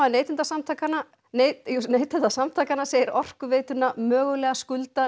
Neytendasamtakanna Neytendasamtakanna segir Orkuveituna mögulega skulda